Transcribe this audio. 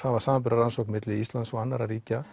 var samanburðarrannsókn milli Íslands og annarra ríkja